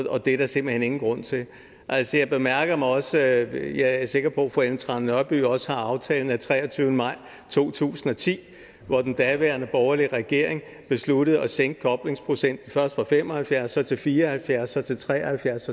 og det er der simpelt hen ingen grund til altså jeg er sikker på at fru ellen trane nørby også har aftalen af den treogtyvende maj to tusind og ti hvor den daværende borgerlige regering besluttede at sænke koblingsprocenten først fra fem og halvfjerds pct så til fire og halvfjerds pct så til tre og halvfjerds